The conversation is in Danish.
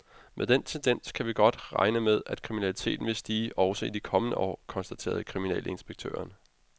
Med den tendens kan vi godt regne med, at kriminaliteten vil stige også de kommende år, konstaterer kriminalinspektøren.